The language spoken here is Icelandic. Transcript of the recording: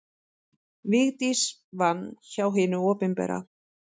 Vigdís vann hjá hinu opinbera.